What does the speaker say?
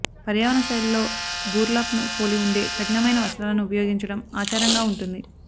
పర్యావరణ శైలిలో బుర్లాప్ ను పోలి ఉండే కఠినమైన వస్త్రాలను ఉపయోగించడం ఆచారంగా ఉంటుంది